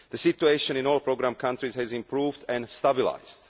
The situation in all programme countries has improved and stabilised.